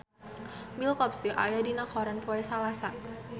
Bill Cosby aya dina koran poe Salasa